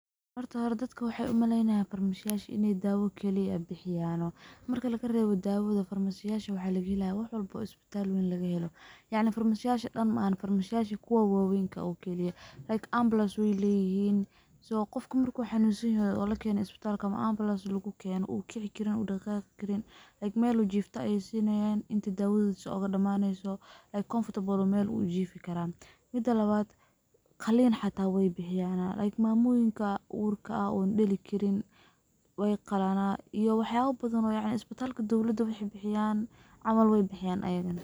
Horta hore dadaka waxay umaleynayan farmashayasha in ay dawa kaliya bixiyano, marka lagarewo dawada farmashayasha waxa lagahelayaa wax walba oo isbital weyn klagahelo, yacni farmashayasha dhan farmashayasha kuwa wawenka kaliyah, like ambulance wey leyihin qofka marku xanunsanyaho oo lakeno isbitalka ambulance lagukeno oo kici karin uu daqaqi karin like mel uu jifto ay sinayan inta dawadisa ogadamaneyso like comfortable mel uu jifi karaah. Mida lawad qalin xata weybixiyanah, like mamoyinka urka ah on dali karin weyqalan iyo wax yaba badhan yacni isbitalka weyn bixiyan camal weybixiyan aygana.